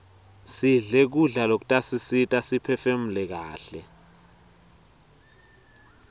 sidle kudla lokutasisita siphefunule kaihle